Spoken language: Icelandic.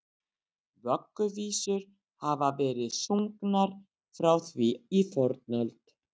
Vögguvísur hafa verið sungnar frá því í fornöld.